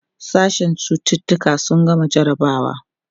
sashen cututuka sun gama jarabawa